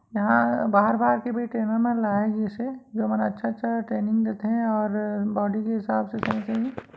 यहाँँ बाहर-बाहर के भी ट्रेनर लाय गिस हे जेमन अच्छा-अच्छा ट्रेनिंग देथे और बॉडी के हिसाब से सही सही --